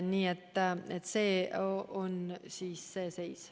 Selline on see seis.